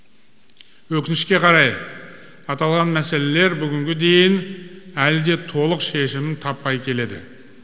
өкінішке қарай аталған мәселелер бүгінге дейін әлі де толық шешімін таппай келеді